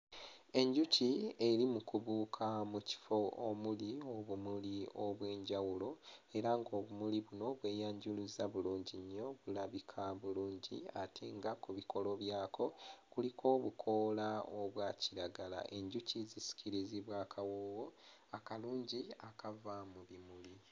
Enjuki eri mu kubuuka mu kifo omuli obumuli obw'enjawulo era ng'obumuli buno bweyanjuluzza bulungi nnyo bulabika bulungi ate nga ku bikolo byako kuliko obukoola obwa kiragala, enjuki zisikirizibwa akawoowo akalungi akava mu bimuli.